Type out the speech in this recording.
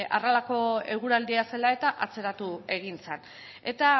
beno horrelako eguraldia zela eta atzeratu egin zen eta